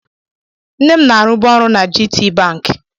Nne m na-arụbu ọrụ na GTBank.